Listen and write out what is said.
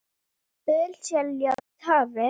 Ölselja við hafið